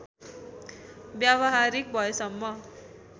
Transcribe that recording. व्यावहारिक भएसम्म